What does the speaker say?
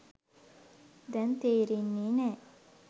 දැන් තේරෙන්නේ නෑ.